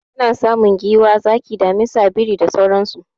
Ana samun giwa, zaki, damisa, biri da sauransu.